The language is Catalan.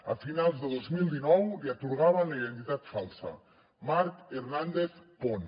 a finals de dos mil dinou li atorgaven la identitat falsa marc hernàndez pon